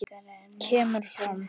kemur fram